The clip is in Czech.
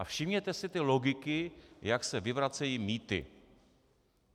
A všimněte si té logiky, jak se vyvracejí mýty.